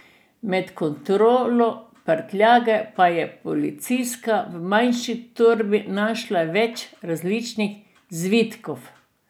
Med kontrolo prtljage pa je policistka v manjši torbi našla več različnih zvitkov.